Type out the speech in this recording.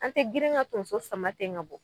An te girin ŋa tonso sama ten ŋ'a bɔ